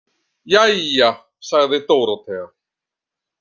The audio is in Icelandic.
Jæja, sagði Dórótea.